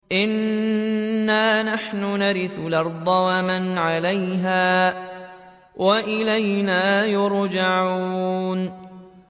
إِنَّا نَحْنُ نَرِثُ الْأَرْضَ وَمَنْ عَلَيْهَا وَإِلَيْنَا يُرْجَعُونَ